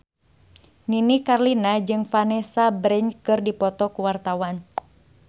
Nini Carlina jeung Vanessa Branch keur dipoto ku wartawan